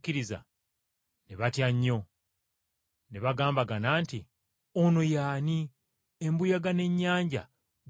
Ne batya nnyo, ne beebuuza nti, “Ono ye ani, embuyaga n’ennyanja gwe bigondera?”